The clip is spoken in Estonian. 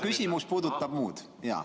Küsimus puudutab muud.